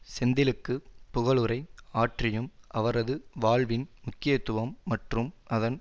செந்திலுக்கு புகழுரை ஆற்றியும் அவரது வாழ்வின் முக்கியத்துவம் மற்றும் அதன்